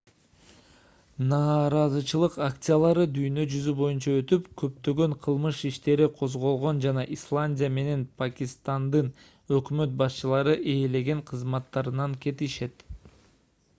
нааразычылык акциялары дүйнө жүзү боюнча өтүп көптөгөн кылмыш иштери козголгон жана исландия менен пакистандын өкмөт башчылары ээлеген кызматтарынан кетишкен